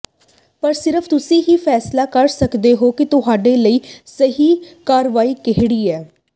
ਪਰ ਸਿਰਫ ਤੁਸੀਂ ਹੀ ਫ਼ੈਸਲਾ ਕਰ ਸਕਦੇ ਹੋ ਕਿ ਤੁਹਾਡੇ ਲਈ ਸਹੀ ਕਾਰਵਾਈ ਕਿਹੜੀ ਹੈ